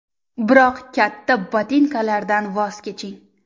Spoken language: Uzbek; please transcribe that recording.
Biroq katta botinkalardan voz keching.